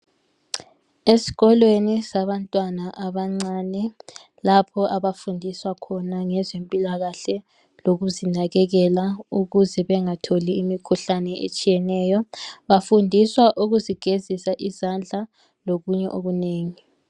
ezikolweni zabantwana abancane lapho abafundiswa khona ngezempilakahle lokuzinakekela ukuze bengatholi imikhuhlane etshiyeneyo bafundiswa ukuzi gezisa izandla lokunye okunengi